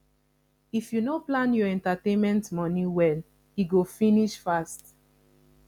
if you no plan your entertainment money well e go finish fast